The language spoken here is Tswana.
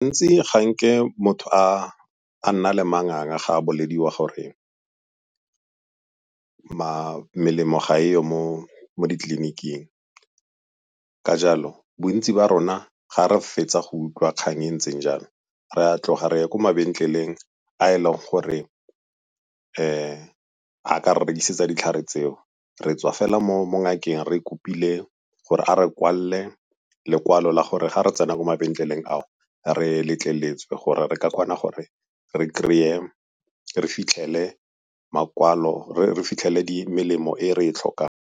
Ntsi ga nke motho a nna le manganga ga a bolediwa gore melemo ga e yo mo ditleliniking ka jalo bontsi ba rona ga re fetsa go utlwa kgang e ntseng jalo. Re a tloga re ya ko mabenkeleng a e leng gore a ka re rekisetsa ditlhare tseo, re tswa fela mo ngakeng re kopile gore a re kwalele lekwalo la gore ga re tsena mo mabenkeleng ao, re letleletswe gore re ka kgona gore re kry-e, re fitlhele makwalo, re fitlhele melemo e re e tlhokang.